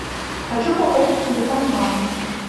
хочу пополнить телефон мамы